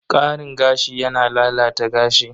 Karin gashi yana lalata gashi.